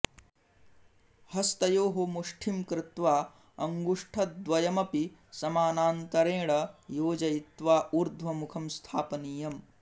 हस्तयोः मुष्ठिं कृत्वा अङ्गुष्टद्वयमपि समानान्तरेण योजयित्वा ऊर्ध्वमुखं स्थापनीयम्